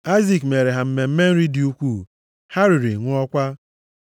Aịzik meere ha mmemme nri dị ukwuu; ha riri, ṅụọkwa.